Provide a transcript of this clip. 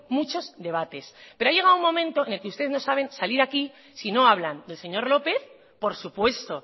muchos debates pero ha llegado un momento en el que usted no saben salir aquí si no hablan del señor lópez por supuesto